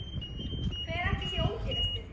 Hver ætli sé ódýrastur?